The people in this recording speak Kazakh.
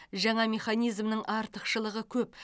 жаңа механизмнің артықшылығы көп